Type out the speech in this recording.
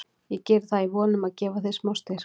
Ég geri það í von um að gefa þér smá styrk.